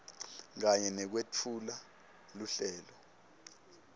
kanye nekwetfula luhlelo